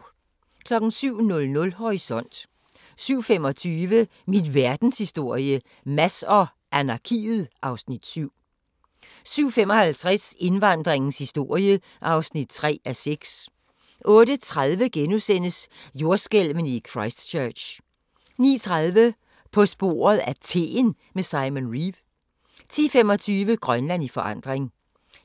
07:00: Horisont 07:25: Min verdenshistorie - Mads og anarkiet (Afs. 7) 07:55: Indvandringens historie (3:6) 08:30: Jordskælvene i Christchurch * 09:30: På sporet af teen med Simon Reeve 10:25: Grønland i forandring